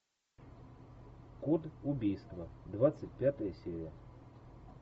код убийства двадцать пятая серия